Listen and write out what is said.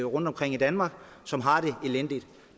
rundtomkring i danmark som har det elendigt